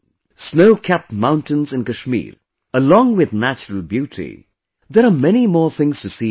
Snowcapped mountains in Kashmir, along with natural beauty; there are many more things to see and know